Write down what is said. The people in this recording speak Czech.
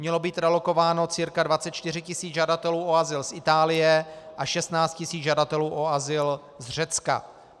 Mělo být relokováno cca 24 tisíc žadatelů o azyl z Itálie a 16 tisíc žadatelů o azyl z Řecka.